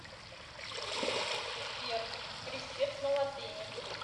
сбер крестец на латыни